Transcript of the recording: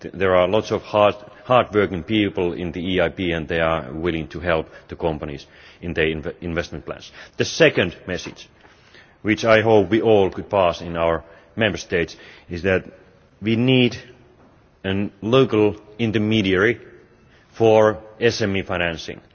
There are lots of hardworking people at the EIB, and they are willing to help the companies in their investment plans. The second message, which I hope we all could pass on in our Member States, is that we need a local intermediary for SME financing.